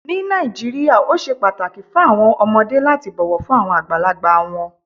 Ní Nàìjíríà, ó sè páàtàkì fún awọn ọmọdé lati bọ̀ wọ̀ fún awọn agbálagbà wọn.